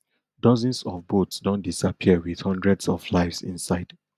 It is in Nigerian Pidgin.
dozens of boats don disappear wit hundreds of lives inside